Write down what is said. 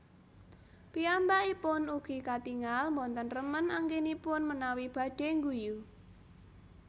Piyambakipun ugi katingal boten remen anggenipun menawi badhe ngguyu